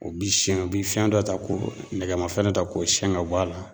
O bi siyɛn , o bi fɛn dɔ ta k'o nɛgɛmafɛn ta k'o siyɛn ka bɔ a la.